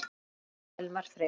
Þinn Elmar Freyr.